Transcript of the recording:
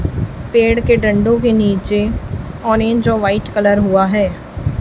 पेड़ के दंडों के नीचे ऑरेंज और व्हाइट कलर हुआ है।